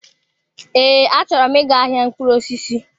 Ee, achọrọ m ị ga-ahịa mkpụrụ osisi.